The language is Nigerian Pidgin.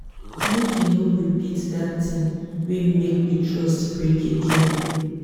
make you no repeat dat tin wey make di trust break again.